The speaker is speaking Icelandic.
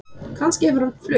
Kannski hefur hann flutt